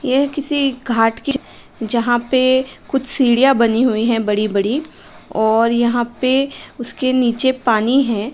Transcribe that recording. येह किसी घाट की च् जहाँं पे कुछ सीढ़िया बनी हुईं हैं बड़ी-बड़ी और यहाँ पे उसके नीचे पानी है।